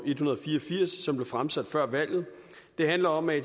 fire og firs som blev fremsat før valget det handler om at